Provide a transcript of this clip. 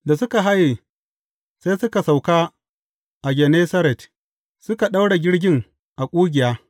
Da suka haye, sai suka sauka a Gennesaret, suka daure jirgin a ƙugiya.